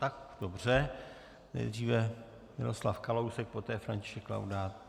Tak dobře, nejdříve Miroslav Kalousek, poté František Laudát.